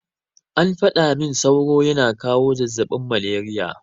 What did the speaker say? An faɗa min sauro yana kawo zazzaɓin malariya.